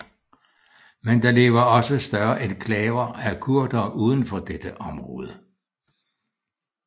Men der lever også større enklaver af kurdere uden for dette område